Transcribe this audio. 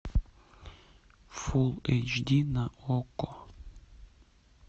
фулл эйч ди на окко